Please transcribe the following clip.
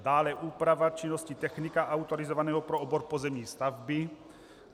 Dále, úprava činnosti technika autorizovaného pro obor pozemní stavby.